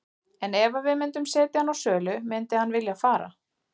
En ef að við myndum setja hann á sölu myndi hann vilja fara?